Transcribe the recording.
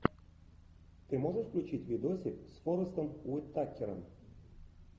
ты можешь включить видосик с форестом уитакером